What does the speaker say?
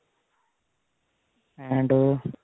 and